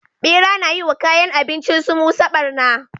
Bera na yi wa kayan abincinsu musa barna